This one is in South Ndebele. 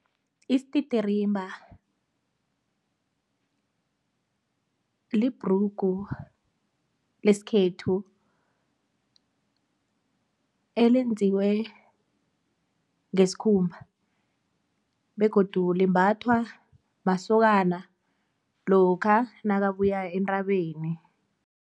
Isititirimba libhrugu lesikhethu elenziwe ngeskhumba begodu limbathwa masokana lokha nakabuya entabeni.